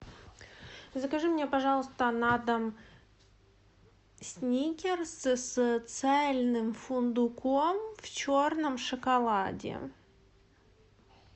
закажи мне пожалуйста на дом сникерс с цельным фундуком в черном шоколаде